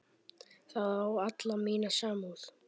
Það á alla mína samúð.